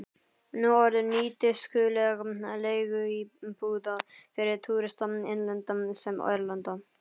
Nú orðinn nýtískuleg leiguíbúð fyrir túrista, innlenda sem erlenda.